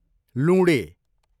लुँडे